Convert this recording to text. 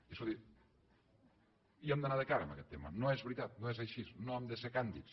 i escolti hi hem d’anar de cara amb aguest tema no és veritat no és així no hem de ser càndids